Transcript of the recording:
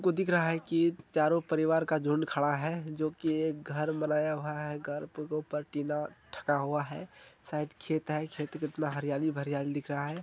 हमको दिख रहा है की चारो परिवार का झुंड खड़ा है जोकि एक घर बनाया हुआ है घर के ऊपर टीना ठका हुआ है साइड मे खेत है खेत मे हरियाली भरीयाली दिख रहा है।